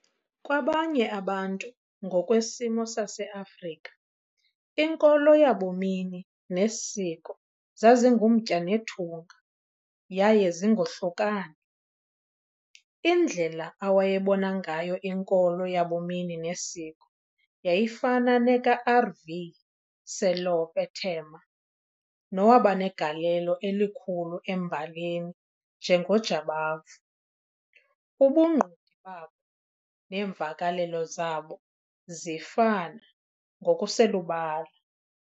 Kwabanye abantu, ngokwesimo saseAfrika, inkolo yabumini nesiko zazingumtya nethunga yaye zingohlukani. Indlela awayebona ngayo inkolo yabumini nesiko yayifuna nekaR.V. Selope Thema nowabanegalelo elikhulu embaleni njengoJabavu- ubungqondi babo neemvakelelo zabo zifana ngokuselubala.